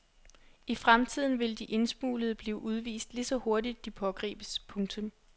I fremtiden vil de indsmuglede blive udvist lige så hurtigt de pågribes. punktum